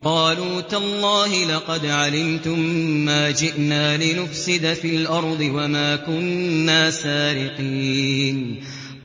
قَالُوا تَاللَّهِ لَقَدْ عَلِمْتُم مَّا جِئْنَا لِنُفْسِدَ فِي الْأَرْضِ وَمَا كُنَّا سَارِقِينَ